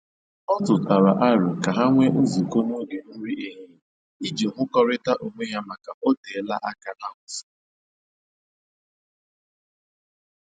Ọ tụtara aro ka ha nwee nzukọ n'oge nri ehihie iji hụkọrịta onwe ha maka o telaa aka ha hụsọrọ